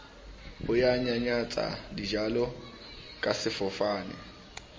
ho nyanyatsa dijalo ka sefofane